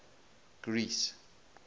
greece